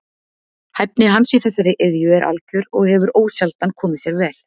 Hæfni hans í þessari iðju er algjör og hefur ósjaldan komið sér vel.